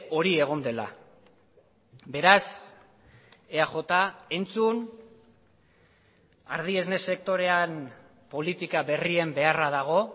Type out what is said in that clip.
hori egon dela beraz eaj entzun ardi esne sektorean politika berrien beharra dago